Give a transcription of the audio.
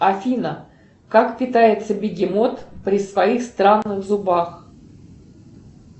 афина как питается бегемот при своих странных зубах